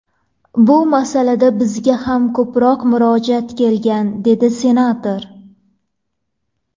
Bu masalada bizga ham ko‘plab murojaatlar kelgan”, dedi senator.